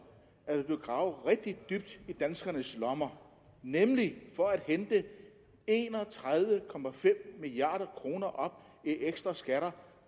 at der vil blive gravet rigtig dybt i danskernes lommer nemlig for at hente en og tredive milliard kroner op i ekstra skatter